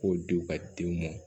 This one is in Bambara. K'o di u ka denw ma